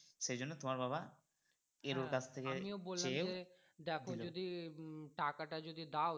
সেইজন্যে তোমার বাবা কাছ থেকে